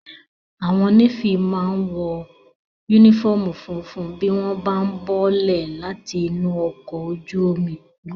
Àwọn Nééfì máa n wọ yúnífọ́ọ̀mù funfun bí wọ́n bá ún bọ́lẹ̀ láti inú ọkọ̀ ojú omi